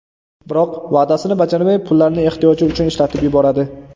Biroq va’dasini bajarmay, pullarni ehtiyoji uchun ishlatib yuboradi.